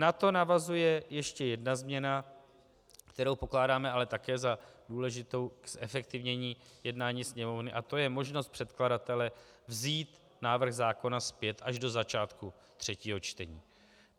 Na to navazuje ještě jedna změna, kterou pokládáme ale také za důležitou k zefektivnění jednání Sněmovny, a to je možnost předkladatele vzít návrh zákona zpět až do začátku třetího čtení.